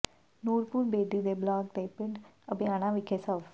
ਨੂਰਪੁਰ ਬੇਦੀ ਦੇ ਬਲਾਕ ਦੇ ਪਿੰਡ ਅਬਿਆਣਾ ਵਿਖੇ ਸਵ